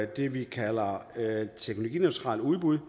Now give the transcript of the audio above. det vi kalder teknologineutrale udbud